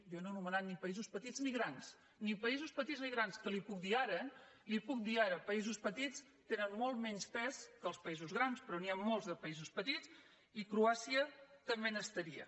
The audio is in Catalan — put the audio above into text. jo no he anomenat ni paï sos petits ni grans ni països petits ni grans que li ho puc dir ara eh li ho puc dir ara els països petits tenen molt menys pes que els països grans però n’hi ha molts de països petits i croàcia també n’estaria